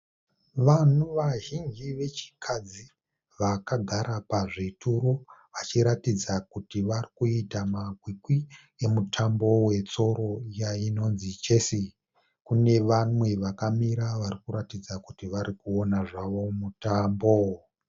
Vanhu vazhinji vechikadzi vakagara pazvituro vachiratidza kuti varikuita makwikwi emutambo wetsoro iya inonzi chess. Kune vamwe vakamira varikuratidza kuti varikuona zvavo mutambo